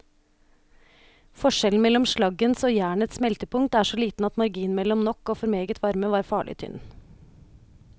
Forskjellen mellom slaggens og jernets smeltepunkt er så liten at marginen mellom nok og for meget varme var farlig tynn.